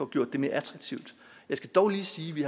gjort mere attraktivt jeg skal dog lige sige at vi